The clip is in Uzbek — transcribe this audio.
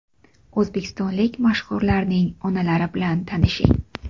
O‘zbekistonlik mashhurlarning onalari bilan tanishing .